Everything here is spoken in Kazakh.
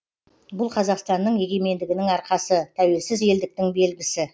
бұл қазақстанның егемендігінің арқасы тәуелсіз елдіктің белгісі